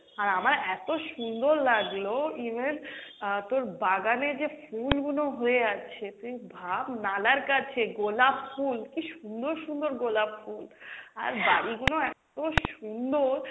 আর আমার এত সুন্দর লাগলো even আহ তোর বাগানে যে ফুল গুনো হয়ে আছে তুই ভাব নালার কাছে গোলাপ ফুল কী সুন্দর সুন্দর গোলাপ ফুল, আর বাড়ি গুনো এত সুন্দর,